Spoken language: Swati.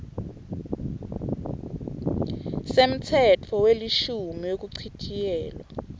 semtsetfo welishumi wekuchitjiyelwa